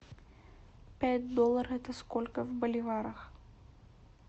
пять долларов это сколько в боливарах